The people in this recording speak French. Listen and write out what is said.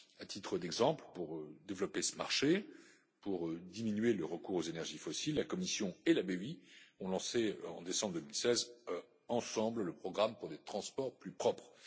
À titre d'exemple, pour développer ce marché, pour diminuer le recours aux énergies fossiles, la Commission et la BEI ont lancé en décembre 2016, ensemble, le programme pour des transports plus propres.